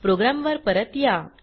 programme वर परत या